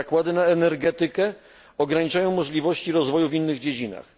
Nakłady na energetykę ograniczają możliwości rozwoju w innych dziedzinach.